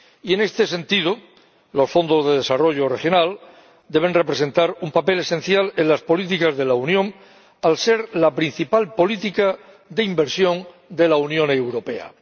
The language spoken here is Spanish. Y, en este sentido, los fondos de desarrollo regional deben representar un papel esencial en las políticas de la Unión, al ser la principal política de inversión de la Unión Europea.